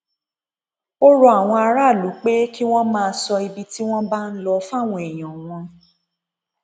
ó rọ àwọn aráàlú pé kí wọn máa sọ ibi tí wọn bá ń lọ fáwọn èèyàn wọn